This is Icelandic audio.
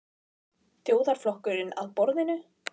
Þjóðarflokkurinn að borðinu?